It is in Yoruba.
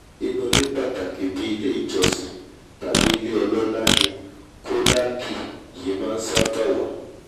inú ilé pàtàkì bíi ilé ìjọ́sìn tàbí ilé ọlọ́lá ni khoklaki yìí máa ṣába wà